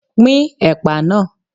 Pín ẹ̀pà náà!